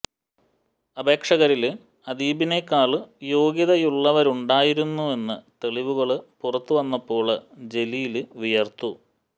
അപേക്ഷകരില് അദീബിനെക്കാള് യോഗ്യതയുള്ളവരുണ്ടായിരുന്നുവെന്ന് തെളിവുകള് പുറത്ത് വന്നപ്പോള് ജലീല് വിയര്ത്തു